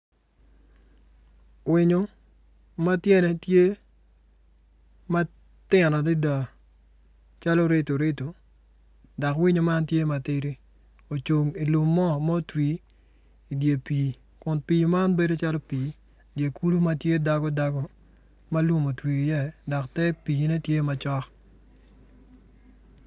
Winyo ma tyene tye ma tino dada calo rido rido dok winyo man tye ma tidi ocung ilum ma otwi idye pii kun pii man bedo calo pii dye kulu ma tye dagodago ma lum otwi iye dok te piine tye macok.